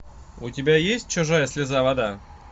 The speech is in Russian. у тебя есть чужая слеза вода